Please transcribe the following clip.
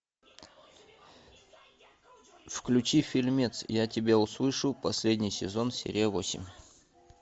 включи фильмец я тебя услышу последний сезон серия восемь